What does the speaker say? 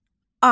Ay.